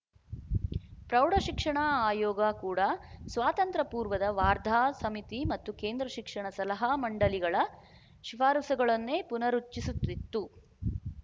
ಪ್ರೌಢಶಿಕ್ಷಣ ಆಯೋಗ ಕೂಡ ಸ್ವಾತಂತ್ರ್ಯಪೂರ್ವದ ವಾರ್ಧಾ ಸಮಿತಿ ಮತ್ತು ಕೇಂದ್ರ ಶಿಕ್ಷಣ ಸಲಹಾ ಮಂಡಲಿಗಳ ಶಿಫಾರಸುಗಳನ್ನೇ ಪುನರುಚಿಸುತಿತ್ತು